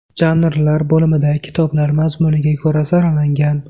Janrlar bo‘limida kitoblar mazmuniga ko‘ra saralangan.